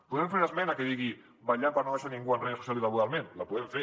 podem fer una esmena que digui vetllant per no deixar ningú enrere socialment i laboralment la podem fer